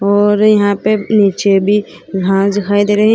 और यहां पे नीचे भी घास दिखाई दे रही है।